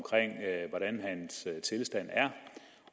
hvordan hans tilstand er